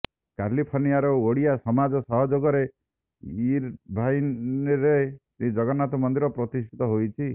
କାଲିଫର୍ଣ୍ଣିଆର ଓଡ଼ିଆ ସମାଜ ସହଯୋଗରେ ଇର୍ ଭାଇନରେ ଏକ ଶ୍ରୀଜଗନ୍ନାଥ ମନ୍ଦିର ପ୍ରତିଷ୍ଠିତ ହୋଇଛି